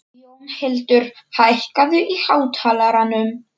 Jónhildur, hækkaðu í hátalaranum.